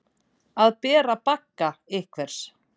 Að bera bagga einhvers